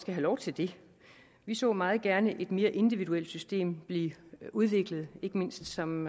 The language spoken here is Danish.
have lov til det vi så meget gerne et mere individuelt system blive udviklet ikke mindst som